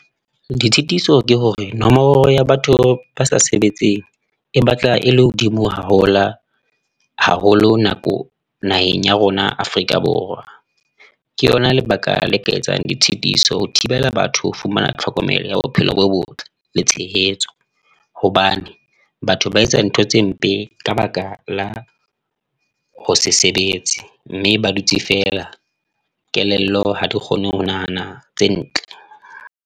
Ditshitiso ke hore nomoro ya batho ba sa sebetseng e batla e le hodimo haholo haholo nako naheng ya rona, Afrika Borwa. Ke yona lebaka la ka etsang ditshitiso ho thibela batho, ho fumana tlhokomelo ya bophelo bo botle le tshehetso. Hobane batho ba etsa ntho tse mpe ka baka la ho se sebetse, mme ba dutse feela, kelello ha di kgone ho nahana tse ntle.